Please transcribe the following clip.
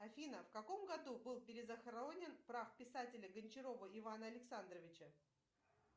афина в каком году был перезахоронен прах писателя гончарова ивана александровича